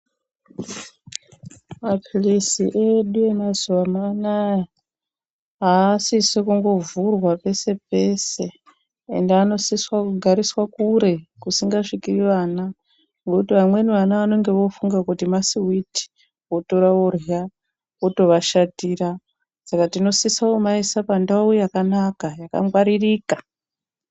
Maphilizi edu emazuvano anaya, haasisi kungovhurwa pese pese, ende anosiswa kugarira kure kusingasviki vana ngekuti vamweni vana vanenge vofunga kuti masiwiti votora vorya, otovashatira. Saka tinosisa kumaisa pandau yakanaka, yakangwaririka.